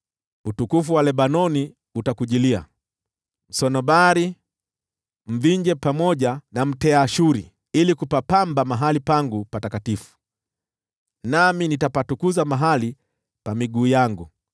“Utukufu wa Lebanoni utakujilia, msunobari, mvinje pamoja na mteashuri, ili kupapamba mahali pangu patakatifu, nami nitapatukuza mahali pa miguu yangu.